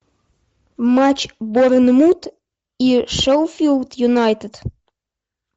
матч борнмут и шеффилд юнайтед